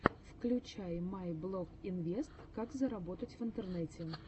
включай майблогинвест как заработать в интернете